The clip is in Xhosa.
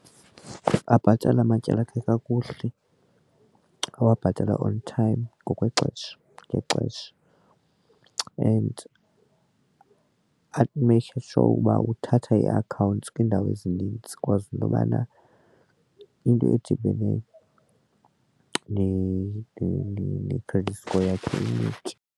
Abhatale amatyala akhe kakuhle, awabhatale on time ngokwexesha ngexesha and ameyikhe sure uba uthatha ii-accounts kwiindawo ezinintsi because into yobana into edibene ne-credit score yakhe inyuke.